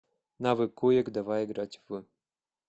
навык куек давай играть в